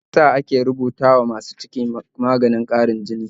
Mai yasa ake rubuta wa masu ciki maganin ƙarin jini?